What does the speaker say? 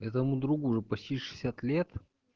этому другу уже почти шестьдесят лет